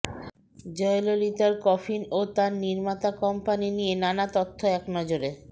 জয়ললিতার coffin ও তার নির্মাতা কোম্পানি নিয়ে নানা তথ্য একনজরে